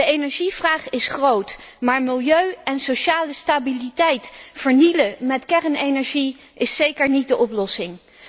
De energievraag is groot, maar milieu en sociale stabiliteit vernielen met kernenergie is zeker niet de oplossing.